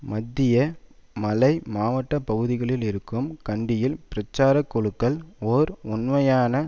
மத்திய மலை மாவட்ட பகுதிகளில் இருக்கும் கண்டியில் பிரச்சார குழுக்கள் ஓர் உண்மையான